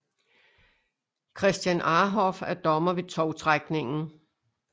Christian Arhoff er dommer ved tovtrækningen